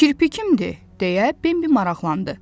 Kirpi kimdir, deyə Bembi maraqlandı.